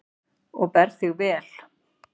Þú berð þig vel.